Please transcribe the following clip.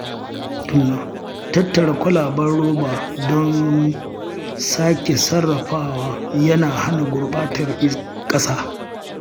Tattara kwalaben roba don sake sarrafawa yana hana gurɓatar ƙasa.